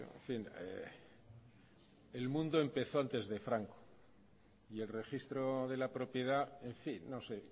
en fin el mundo empezó antes de franco y el registro de la propiedad en fin no sé